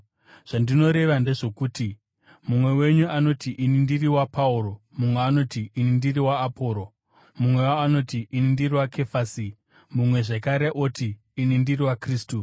Zvandinoreva ndezvokuti: Mumwe wenyu anoti, “Ini ndiri waPauro,” mumwe oti, “Ini ndiri waAporosi,” mumwewo oti, “Ini ndiri waKefasi,” mumwe zvakare oti, “Ini ndiri waKristu.”